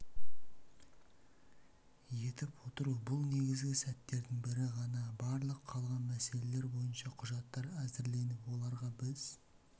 етіп толтыру бұл негізгі сәттердің бірі ғана барлық қалған мәселелер бойынша құжаттар әзірленіп оларға біз